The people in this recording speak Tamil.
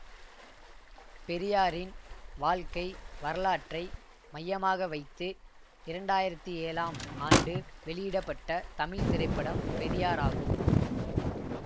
பெரியாரின் வாழ்க்கை வரலாற்றை மையமாக வைத்து இரண்டு ஆயிரத்தி ஏழாம் ஆண்டு வெளியிட பட்ட தமிழ் திரைப்படம் பெரியார் ஆகும்